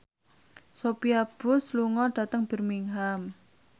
Sophia Bush lunga dhateng Birmingham